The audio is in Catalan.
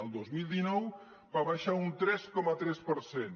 el dos mil dinou va baixar un tres coma tres per cent